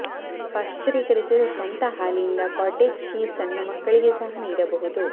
ಪಾಶ್ಚರೀಕರಿಸಿದ ಸ್ವಂತ ಹಾಲಿನಿಂದ cottage cheese ಸಣ್ಣ ಮಕ್ಕಳಿಗೆ ಸಹ ನೀಡಬಹುದು